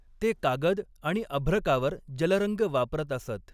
ते कागद आणि अभ्रकावर जलरंग वापरत असत.